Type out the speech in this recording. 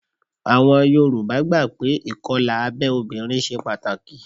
Àwọn Yorùbá gbà pé ìkọlà abẹ́ obìnrin ṣe pàtàkì